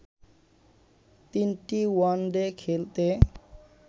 তিনটি ওয়ানডে খেলতে